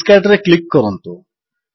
discard ରେ click କରନ୍ତୁ